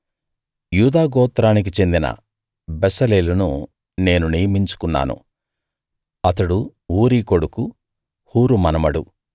యూదా గోత్రానికి చెందిన బెసలేలును నేను నియమించుకున్నాను అతడు ఊరీ కొడుకు హూరు మనుమడు